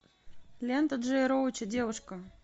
лента джея роуча девушка